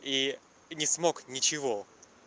и не смог ничего